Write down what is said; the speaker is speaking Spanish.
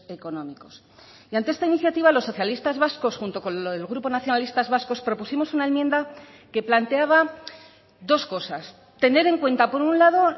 económicos y ante esta iniciativa los socialistas vascos junto con el grupo nacionalistas vascos propusimos una enmienda que planteaba dos cosas tener en cuenta por un lado